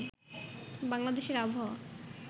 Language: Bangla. বাংলাদেশের আবহাওয়া